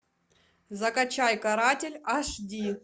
закачай каратель аш ди